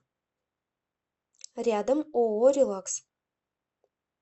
рядом ооо релакс